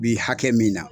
Bi hakɛ min na